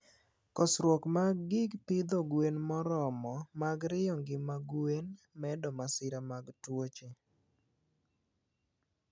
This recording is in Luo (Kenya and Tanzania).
Kosruok mag gig pidho gwen moromo mag rio ngima gwen medo masira mag tuoche